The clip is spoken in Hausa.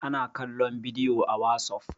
ana kallon bidiyo a wasof